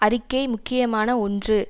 அறிக்கை முக்கியமான ஒன்று